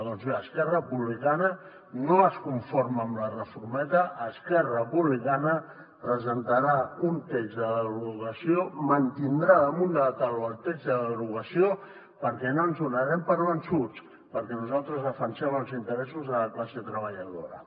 doncs bé esquerra republicana no es conforma amb la reformeta esquerra republicana presentarà un text de derogació mantindrà damunt de la taula el text de derogació perquè no ens donarem per vençuts perquè nosaltres defensem els interessos de la classe treballadora